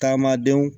Taamadenw